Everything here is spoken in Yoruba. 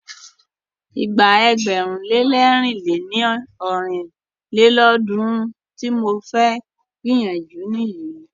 Ìgbà ẹgbẹ̀rún lé lẹ̀rin lé ní ọ́rin lélọ́ọ̀dúnrún tí mo fẹ́ gbìyànjú nìyí.